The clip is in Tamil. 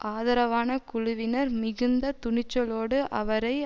ஆதரவான குழுவினர் மிகுந்த துணிச்சலோடு அவரை